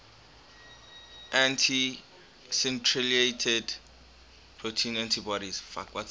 anti citrullinated protein antibodies